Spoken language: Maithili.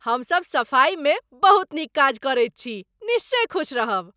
हमसभ सफाई मे बहुत नीक काज करैत छी, निश्चय खुश रहब।